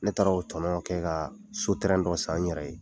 Ne taara o tɔnɔn kɛ ka so terɛn dɔ san n yɛrɛ ye !